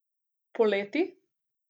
Poleti?